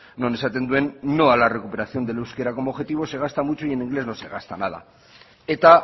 non esaten duen no a la recuperación del euskera como objetivo se gasta mucho y en inglés no se gasta nada eta